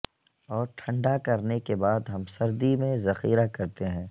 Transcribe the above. اور ٹھنڈا کرنے کے بعد ہم سردی میں ذخیرہ کرتے ہیں